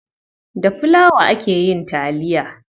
Da filawa ake yin taliya.